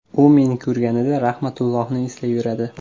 U meni ko‘rganida Rahmatullohni eslayveradi.